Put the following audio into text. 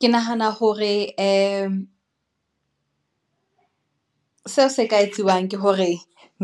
Ke nahana hore ee, seo se ka etsuwang ke hore